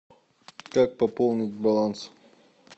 как пополнить баланс